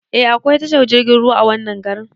Eh akwai tashar jirgin ruwa a wannan garin